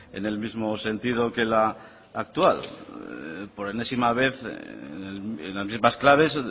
en el mismo sentido que la actual por enésima vez en las mismas claves